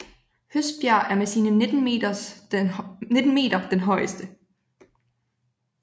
Høstbjerg er med sine 19 meter den højeste